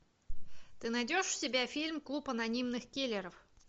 ты найдешь у себя фильм клуб анонимных киллеров